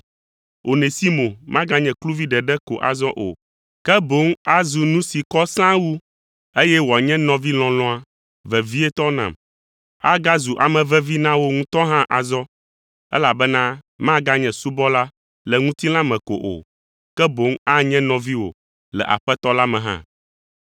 Onesimo maganye kluvi ɖeɖe ko azɔ o, ke boŋ azu nu si kɔ sãa wu, eye woanye nɔvi lɔlɔ̃a, vevietɔ nam. Agazu ame vevi na wò ŋutɔ hã azɔ, elabena maganye subɔla le ŋutilã me ko o, ke boŋ anye nɔviwò le Aƒetɔ la me hã.